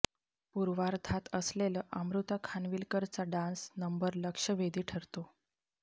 पूर्वार्धात असलेलं अमृता खानविलकरचा डान्स नंबर लक्षवेधी ठरतो